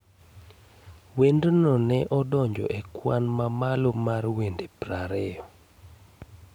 Wendno ne odonjo e kwan mamalo mar wende 20